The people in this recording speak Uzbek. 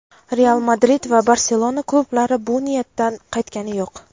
"Real Madrid" va "Barselona" klublari bu niyatidan qaytgani yo‘q.